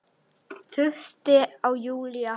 Þurfti á Júlíu að halda.